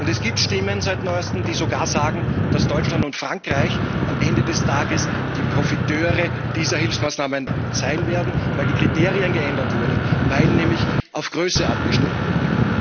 Seit neuestem gibt es Stimmen, die sogar sagen, dass Deutschland und Frankreich am Ende des Tages die Profiteure dieser Hilfsmaßnahmen sein werden, weil die Kriterien geändert wurden, weil nämlich auf Größe abgestellt wurde.